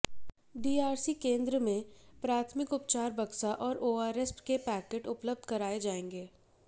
DRC केंद्र में प्राथमिक उपचार बक्सा और ओआरएस के पैकेट उपलब्ध कराये जाएंगे